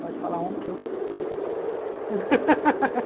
Pode falar um que eu falo que eu estou.